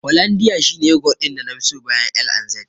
Hollondia shi ne yogurt ɗin nafi so bayan L&Z.